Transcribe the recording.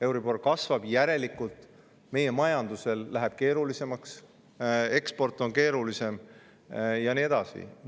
Euribor kasvab, järelikult meie majanduse läheb keerulisemaks, eksport on keerulisem ja nii edasi.